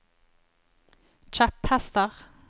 kjepphester